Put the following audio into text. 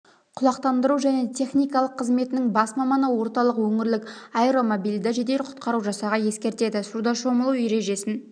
құлақтандыру және техникалық қызметінің бас маманы орталық өңірлік аэромобильді жедел құтқару жасағы ескертеді суда шомылу ережесін